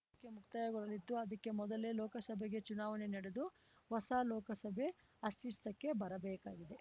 ಮೂರಕ್ಕೆ ಮುಕ್ತಾಯಗೊಳ್ಳಲಿದ್ದು ಅದಕ್ಕೆ ಮೊದಲೇ ಲೋಕಸಭೆಗೆ ಚುನಾವಣೆ ನಡೆದು ಹೊಸ ಲೋಕಸಭೆ ಅಸ್ತಿತ್ವಕ್ಕೆ ಬರಬೇಕಾಗಿದೆ